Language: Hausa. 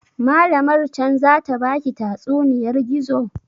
Malamar can zata baki tatsuniyar gizo?